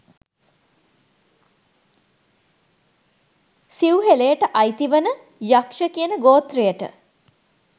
සිව්හෙළයට අයිති වන යක්ෂ කියන ගෝත්‍රයට